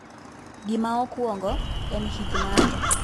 Gima okwongo en hik ng'ato.